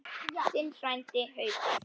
Þinn frændi, Haukur.